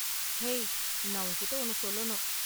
Hey, நான் உன்கிட்ட ஒன்னு சொல்லணும் .